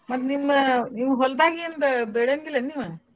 ಮತ್ತ್ನಿಮ್ಮ ನಿವ್ ಹೊಲ್ದಾಗೇನ್ ಬೇ~ ಬೆಳೆಂಗಿಲ್ಲನ್ ನೀವ್?